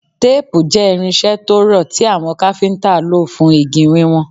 Teepu jẹ irinṣẹ to rọ ti awọn Káfíntà lo fun igi wiwọn